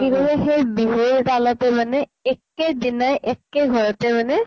কি কৰিলে সেই বিহুৰ তালতে মানে একে দিনাই একে ঘৰতে মানে